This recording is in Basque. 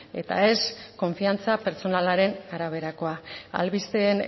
eta ez konfiantza pertsonalaren araberakoa albisteen